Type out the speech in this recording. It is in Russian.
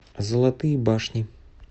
золотые башни